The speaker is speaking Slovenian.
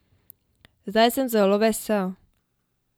Zdaj sem zelo vesel.